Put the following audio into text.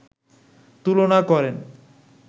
তুলনা করেন